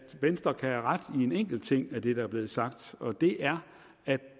venstre kan have ret i en enkelt ting af det der er blevet sagt og det er at